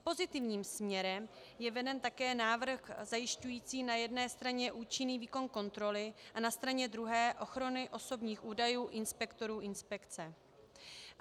Pozitivním směrem je veden také návrh zajišťující na jedné straně účinný výkon kontroly a na straně druhé ochranu osobních údajů inspektorů inspekce.